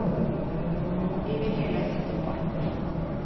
Vi vil heller sette opp farten.